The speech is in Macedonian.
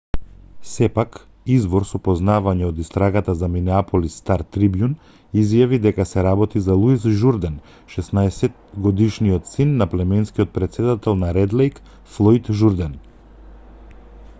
сепак извор со познавања од истрагата за минеаполис стар-трибјун изјави дека се работи за луис журден 16-годишниот син на племенскиот претседател на ред лејк флојд журден